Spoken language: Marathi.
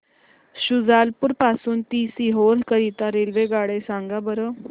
शुजालपुर पासून ते सीहोर करीता रेल्वेगाड्या सांगा बरं